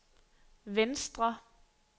venstre